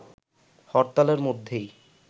হরতালের মধ্যেই